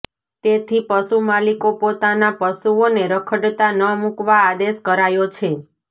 તેથી પશુ માલીકો પોતાના પશુઓને રખડતા ન મૂકવા આદેશ કરાયો છે